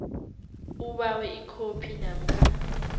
ubawe ikhophi namkha